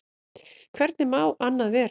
Hvernig má annað vera?